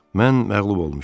Mən məğlub olmuşam.